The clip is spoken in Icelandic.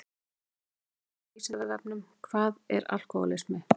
Frekara lesefni á Vísindavefnum Hvað er alkóhólismi?